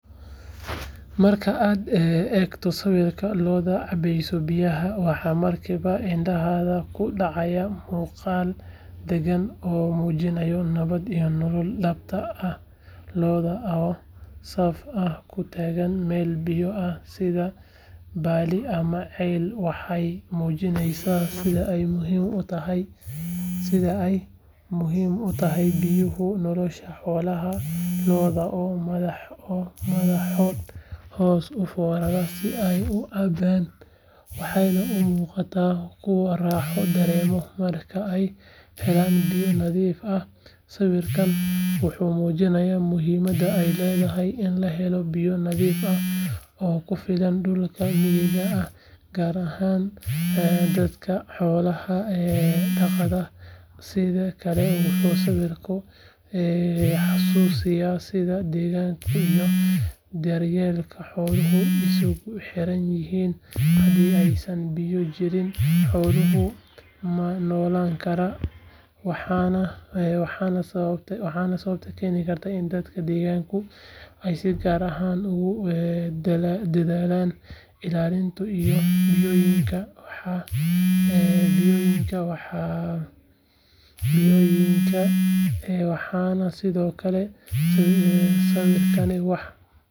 Marka aad eegto sawirka lo’da cabaysa biyaha waxa markiiba indhahaaga ku dhaca muuqaal dagan oo muujinaya nabad iyo nolol dhabta ah lo’da oo saf ah u taagan meel biyo ah sida balli ama ceel waxay muujinayaan sida ay muhiim u tahay biyuhu nolosha xoolaha lo’da oo madaxooda hoos u foorarsan si ay u cabaan waxay u muuqdaan kuwo raaxo dareemaya marka ay helaan biyo nadiif ah sawirkani wuxuu muujinayaa muhiimadda ay leedahay in la helo biyo nadiif ah oo ku filan dhulka miyiga ah gaar ahaan dadka xoolo dhaqatada ah sidoo kale wuxuu sawirku xasuusinayaa sida deegaanka iyo daryeelka xooluhu isugu xiran yihiin haddii aysan biyo jirin xooluhu ma noolaan karaan waana sababta keentay in dadka deegaanka ay si gaar ah ugu dadaalaan ilaalinta ilo biyoodka waxaana sidoo kale sawirkani wax ka tarayaa wacyigelinta ku aaddan ilaalinta kheyraadka dabiiciga ah ee biyaha.